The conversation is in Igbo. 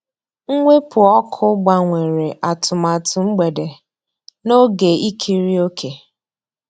Mwepụ́ ọ́kụ́ gbànwèrè àtụ̀màtụ́ mgbedé n'ògé ìkírí òkè.